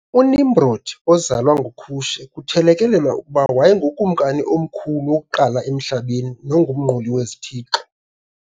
UNimrodi ozalwa nguKushe, kuthelekelelwa ukuba wayengukumkani omkhulu wokuqala emhlabeni nomnquli wezithixo.